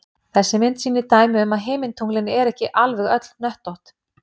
Þessi mynd sýnir dæmi um að himintunglin eru ekki alveg öll hnöttótt.